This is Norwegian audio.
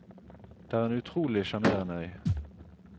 Det er en utrolig sjarmerende øy.